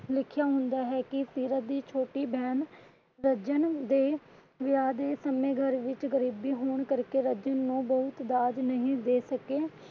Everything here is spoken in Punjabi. ਲਿਖਿਆ ਹੁੰਦਾ ਹੈ ਕਿ ਸੀਰਤ ਦੀ ਛੋਟੀ ਭੈਣ ਰੱਜਣ ਦੇ ਵਿਆਹ ਦੇ ਸਮੇਂ ਘਰ ਵਿੱਚ ਗਰੀਬੀ ਹੋਣ ਕਰ ਕੇ ਰੱਜਣ ਨੂੰ ਬਹੁਤ ਦਾਜ ਨਹੀਂ ਦੇ ਸਕੇ।